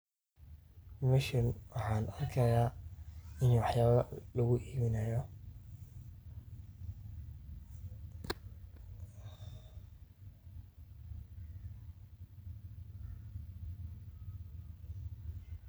Meshani waxan arkihaya in waxayaba lagu ibinaayo.